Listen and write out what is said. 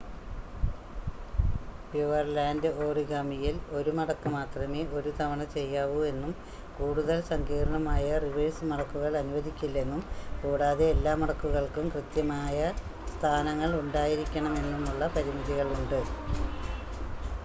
Pureland ഓറിഗാമിയിൽ 1 മടക്കു മാത്രമേ ഒരു തവണ ചെയ്യാവൂ എന്നും കൂടുതൽ സങ്കീർണ്ണമായ റിവേഴ്സ് മടക്കുകൾ അനുവദിക്കില്ലെന്നും കൂടാതെ എല്ലാ മടക്കുകൾക്കും കൃത്യമായ സ്ഥാനങ്ങൾ ഉണ്ടായിരിക്കണമെന്നുമുള്ള പരിമിതികളുണ്ട്